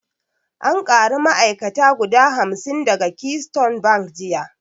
An kari ma'ai'kata guda hamsin daga keystone bank jiya